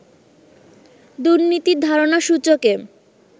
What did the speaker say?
দুর্নীতির ধারণা সূচকে